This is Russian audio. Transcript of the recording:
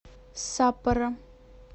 саппоро